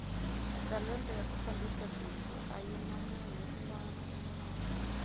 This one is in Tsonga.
talenta ya ku fambisa bindzu ayina munhu unwana na unwana